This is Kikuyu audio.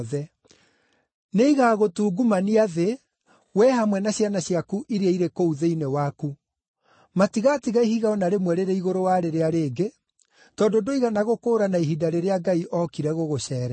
Nĩigagũtungumania thĩ, wee hamwe na ciana ciaku iria irĩ kũu thĩinĩ waku. Matigatiga ihiga o na rĩmwe rĩrĩ igũrũ wa rĩrĩa rĩngĩ, tondũ ndũigana gũkũũrana ihinda rĩrĩa Ngai ookire gũgũceerera.”